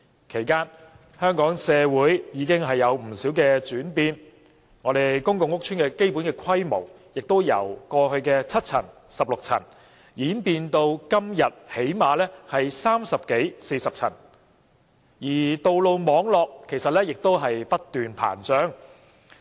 其間，香港社會已有不少轉變，例如，公共屋邨的基本規模已由過去的7層或16層，演變至今天最低限度也有30層至40層，而道路網絡亦不斷膨脹。